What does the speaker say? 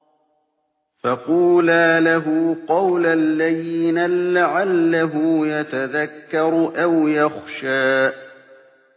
فَقُولَا لَهُ قَوْلًا لَّيِّنًا لَّعَلَّهُ يَتَذَكَّرُ أَوْ يَخْشَىٰ